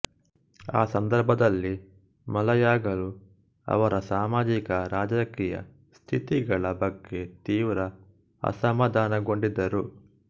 ಆ ಸಂದರ್ಭದಲ್ಲಿ ಮಲಯಾಗಳು ಅವರ ಸಾಮಾಜಿಕರಾಜಕೀಯ ಸ್ಥಿತಿಗಳ ಬಗ್ಗೆ ತೀವ್ರ ಅಸಮಾಧಾನಗೊಂಡಿದ್ದರು